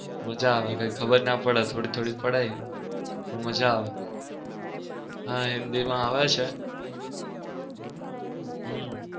મજા આવે કઈ ખબર ના પડે થોડી થોડી પડે પણ મજા આવે. હા હિન્દી માં આવે છે. હમ